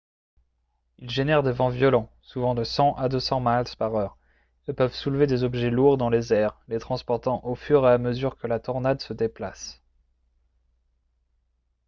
ils génèrent des vents violents souvent de 100 à 200 miles/heure et peuvent soulever des objets lourds dans les airs les transportant au fur et à mesure que la tornade se déplace